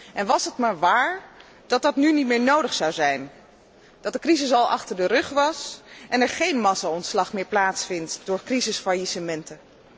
En was het maar waar dat dat nu niet meer nodig zou zijn, dat de crisis al achter de rug was en er geen massaontslag meer plaatsvindt door crisisfaillissementen.